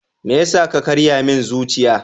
Me yasa ka karya min zuciya?